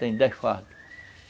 Tem dez fardos.